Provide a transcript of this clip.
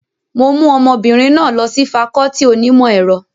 Mo mú ọmọbìnrin náà lọ sí fakọọti onímọ̀ ẹ̀rọ